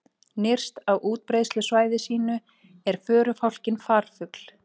Nyrst á útbreiðslusvæði sínu er förufálkinn farfugl.